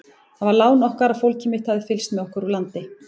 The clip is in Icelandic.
Það var lán okkar að fólkið mitt hafði fylgst með okkur úr landi.